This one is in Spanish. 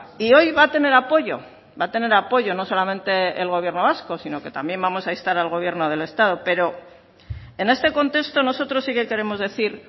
y hoy va a tener apoyo va a tener apoyo no solamente el gobierno vasco sino que también vamos a instar al gobierno del estado pero en este contexto nosotros sí que queremos decir